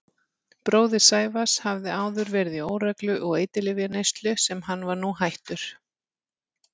Bróðir Sævars hafði áður verið í óreglu og eiturlyfjaneyslu sem hann var nú hættur.